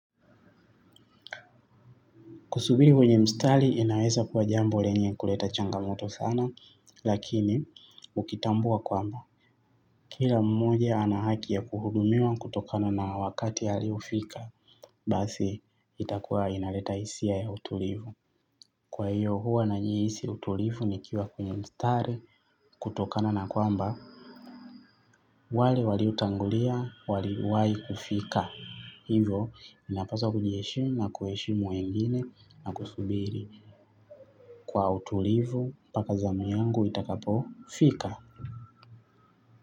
Kusubiri kwenye mstari inaweza kuwa jambo lenye kuleta changamoto sana, lakini ukitambua kwamba. Kila mmoja ana haki ya kuhudumia kutokana na wakati aliofika, basi itakuwa inaleta hisia ya utulivu. Kwa hiyo huwa nanyi hisi utulivu ni kiwa kwenye mstari kutokana na kwamba, wale wali otangulia, wali wahikufika. Hivo minapasa kujiheshimu na kuheshimu wengine na kusubiri kwa utulivu mpaka zamu yangu itakapo fika.